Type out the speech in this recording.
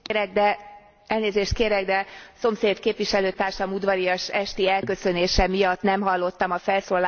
Elnézést kérek, de szomszéd képviselőtársam udvarias esti elköszönése miatt nem hallottam a felszólalás elejét.